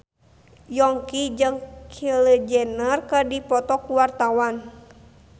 Yongki jeung Kylie Jenner keur dipoto ku wartawan